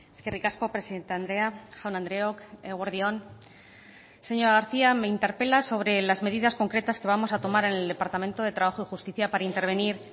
eskerrik asko presidente andrea jaun andreok eguerdi on señora garcía me interpela sobre las medidas concretas que vamos a tomar en el departamento de trabajo y justicia para intervenir